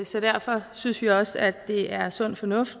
så derfor synes vi også at det er sund fornuft